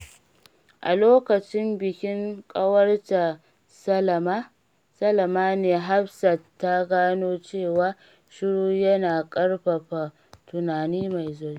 A lokacin bikin ƙawarta Salamah ne, Hafsat ta gano cewa shiru yana ƙarfafa tunani mai zurfi.